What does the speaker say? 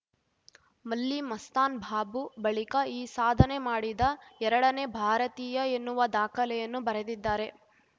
ಮಲ್ಲಿ ಮಸ್ತಾನ್‌ ಬಾಬು ಬಳಿಕ ಈ ಸಾಧನೆ ಮಾಡಿದ ಎರಡನೇ ಭಾರತೀಯ ಎನ್ನುವ ದಾಖಲೆಯನ್ನು ಬರೆದಿದ್ದಾರೆ